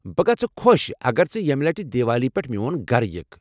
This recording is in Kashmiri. بہٕ گژھہٕ خۄش اگر ژٕ یمہِ لٹہِ دیوالی پٮ۪ٹھ میوٚن گھرٕ یِکھ ۔